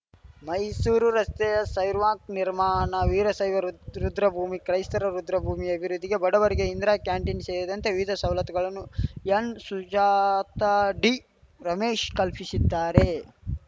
ಮೈಸೂರು ರಸ್ತೆಯ ಸೈರ್ವಾಕ್‌ ನಿರ್ಮಾಣ ವೀರಶೈವ ರುದ್ರಭೂಮಿ ಕ್ರೈಸ್ತರ ರುದ್ರಭೂಮಿ ಅಭಿವೃದ್ಧಿ ಬಡವರಿಗೆ ಇಂದಿರಾ ಕ್ಯಾಂಟೀನ್‌ ಸೇರಿದಂತೆ ವಿವಿಧ ಸವಲತ್ತುಗಳನ್ನು ಎನ್‌ಸುಜಾತಾ ಡಿರಮೇಶ್‌ ಕಲ್ಪಿಶಿ ದ್ದಾರೆ